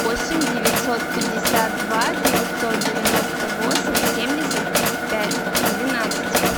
восемь девятьсот пятьдесят два девятьсот девяносто восемь семьдесят пять двенадцать